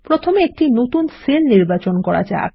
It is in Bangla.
প্রথমে একটি নতুন সেল নির্বাচন করা যাক